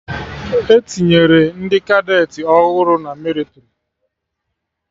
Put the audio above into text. Etinyere ndị Kadeti ọhụrụ na mịlịtrị